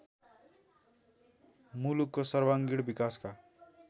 मुलुकको सर्वाङ्गीण विकासका